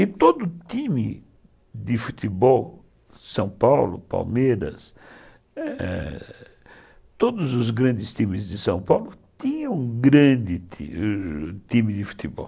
E todo time de futebol de São Paulo, Palmeiras, é... todos os grandes times de São Paulo tinham um grande time de futebol.